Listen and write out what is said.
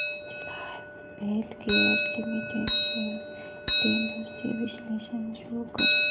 Cadila Healthcare Limited shares trends चे विश्लेषण show कर